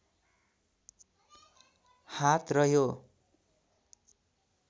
हात रह्यो